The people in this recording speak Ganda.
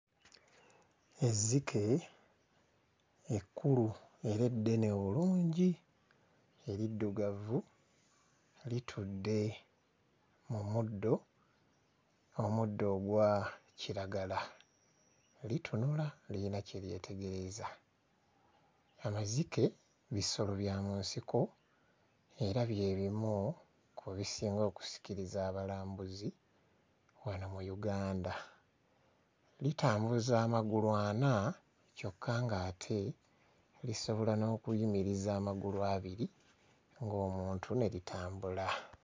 Ezzike ekkulu era eddene obulungi eriddugavu litudde mu muddo, omuddo ogwa kiragala litunula lirina kye lyetegereza. Amazike bisolo bya mu nsiko era bye bimu ku bisinga okusikiriza abalambuzi wano mu Uganda. Litambuza amagulu ana kyokka ng'ate lisobola n'okuyimiriza amagulu abiri ng'omuntu ne litambula.